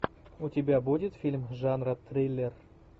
у тебя будет фильм жанра триллер